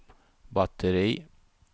batteri